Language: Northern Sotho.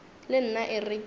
le nna e re ke